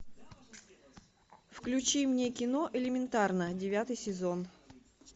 включи мне кино элементарно девятый сезон